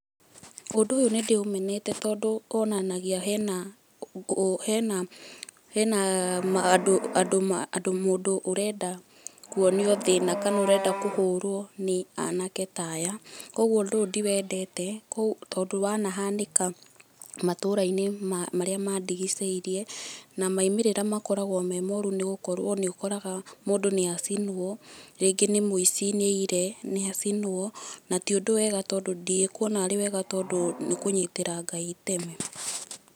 Ũndũ ũyũ nĩ ndĩ ũmenete tondũ wonanagia hena andũ, mũndũ ũrenda kũonio thĩna kana kũhũrwo nĩ anake ta aya, kwoguo ũndu ũyũ ndiwendete tondũ wanahanĩka matũra-inĩ marĩa mandigicĩirie, na maumĩrĩra makoragwo me moru nĩgũkorwo nĩ ũkoraga mũndũ ni acinwo, rĩngĩ ni mũici nĩ aiyire nĩ acinwo. Na ti ũndũ wega tondũ ndikuona arĩ wega tondũ nĩ kũnyitĩra Ngai itemi.